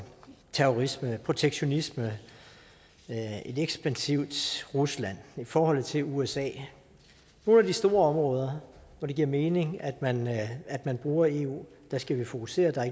terrorisme protektionisme et ekspansivt rusland forholdet til usa nogle af de store områder hvor det giver mening at man at man bruger eu der skal vi fokusere der